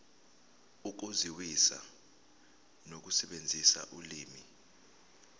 ukuzwisisa nokusebenzisa ulimi